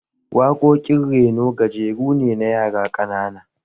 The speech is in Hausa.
Waƙoƙin reno gajeru ne na yara ƙanana